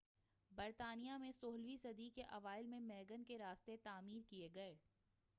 برطانیہ میں سولہویں صدی کے اوائل میں ویگن کے راستے تعمیر کیے گئے